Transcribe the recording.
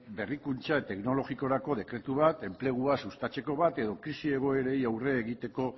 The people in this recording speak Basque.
berrikuntza teknologiarako dekretu bat enplegua sustatzeko bat edo krisi egoerei aurre egiteko